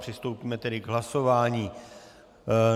Přistoupíme tedy k hlasování.